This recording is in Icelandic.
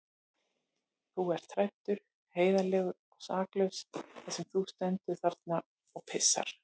Þú ert hræddur, heiðarlegur og saklaus þar sem þú stendur þarna og pissar.